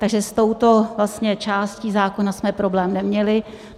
Takže s touto částí zákona jsme problém neměli.